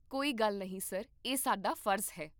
ਕੋਈ ਗੱਲ ਨਹੀਂ ਸਰ, ਇਹ ਸਾਡਾ ਫਰਜ਼ ਹੈ